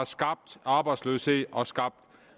skabt arbejdsløshed og skabt